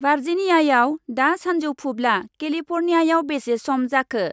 भार्जिनियायाव दा सानजौफुब्ला केलिफर्नियायाव बेसे सम जाखो?